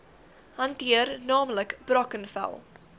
hanteer naamlik brackenfell